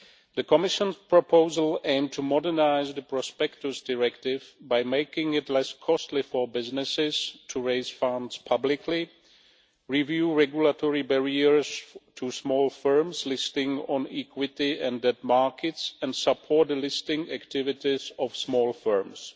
The Commission's proposal aimed to modernise the Prospectus Directive by making it less costly for businesses to raise funds publicly, review regulatory barriers to small firms listing on equity and debt markets, and support the listing activities of small firms.